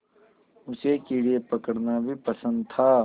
उसे कीड़े पकड़ना भी पसंद था